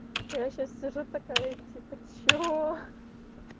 а я сейчас сижу такая типа что